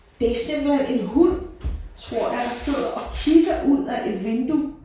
Det er simpelthen en hund tror jeg der sidder og kigger ud af et vindue